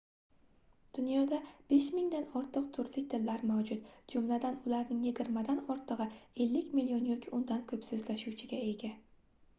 dunyoda 5000 dan ortiq turli tillar mavjud jumladan ularning yigirmadan ortigʻi 50 million yoki undan koʻp soʻzlashuvchiga ega